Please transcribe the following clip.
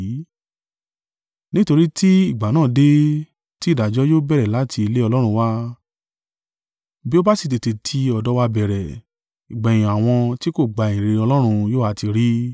Nítorí ti ìgbà náà dé, tí ìdájọ́ yóò bẹ̀rẹ̀ láti ilé Ọlọ́run wá, bí ó bá sì tètè tí ọ̀dọ̀ wa bẹ̀rẹ̀, ìgbẹ̀yìn àwọn tí kò gba ìyìnrere Ọlọ́run yó ha ti rí?